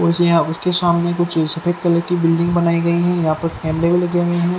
उसने और उसके सामने कुछ सफेद कलर की बिल्डिंग बनाई गई हैं यहां पर भी लगे हुए हैं।